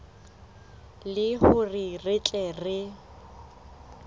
le hore re tle re